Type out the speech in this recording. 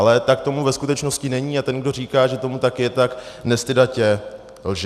Ale tak tomu ve skutečnosti není a ten, kdo říká, že tomu tak je, tak nestydatě lže.